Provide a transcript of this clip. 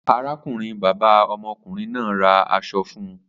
Arákùnrin-bàbá ọmọkùnrin náà ra aṣọ fún un.